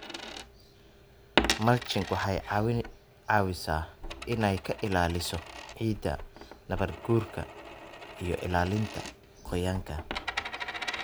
Mulching waxay caawisaa inay ka ilaaliso ciidda nabaadguurka iyo ilaalinta qoyaanka.